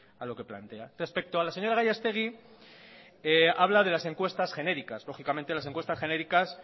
a lo que plantea respecto a la señora gallastegui habla de las encuestas genéricas lógicamente las encuestas genéricas